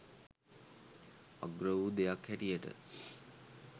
අග්‍ර වූ දෙයක් හැටියට